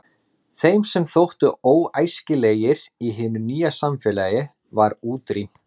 Þeim sem þóttu óæskilegir í hinu nýja samfélagi var útrýmt.